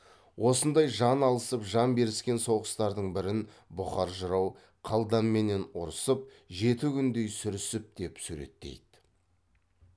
осындай жан алысып жан беріскен соғыстардың бірін бұқар жырау қалданменен ұрысып жеті күндей сүрісіп деп суреттейді